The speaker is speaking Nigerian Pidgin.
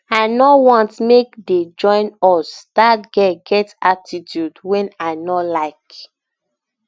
i no want make dey join um us dat girl get attitude um wey i no um like